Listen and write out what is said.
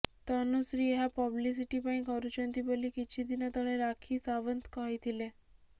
ତନୁଶ୍ରୀ ଏହା ପବ୍ଲିସିଟି ପାଇଁ କରୁଛନ୍ତି ବୋଲି କିଛିଦିନ ତଳେ ରାକ୍ଷୀ ସାଓ୍ବନ୍ତ କହିଥିଲେ